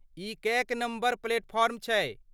ई कएक number platform छै?